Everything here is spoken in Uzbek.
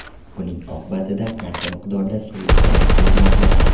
Buning oqibatida qancha miqdorda suv isrof bo‘lmoqda.